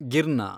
ಗಿರ್ನ